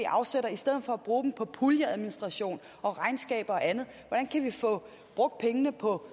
afsætter i stedet for at bruge dem på puljeadministration og regnskaber og andet hvordan kan vi få brugt pengene på